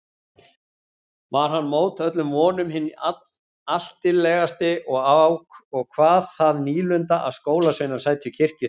Var hann mót öllum vonum hinn altillegasti og kvað það nýlundu að skólasveinar sætu kirkjuþing.